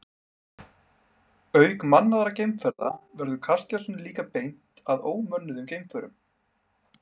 Auk mannaðra geimferða verður kastljósinu líka beint að ómönnuðum geimförum.